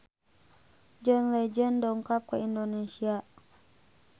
John Legend dongkap ka Indonesia